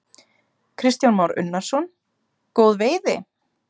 Kristján Már Unnarsson: Góð veiði?